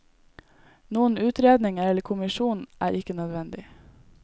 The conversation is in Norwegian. Noen utredning eller kommisjon er ikke nødvendig.